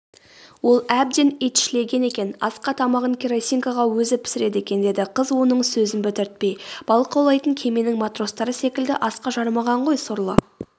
ол әбден итшілеген екен асқа тамағын керосинкаға өзі пісіреді екен деді қыз оның сөзін бітіртпей.балық аулайтын кеменің матростары секілді асқа жарымаған ғой сорлы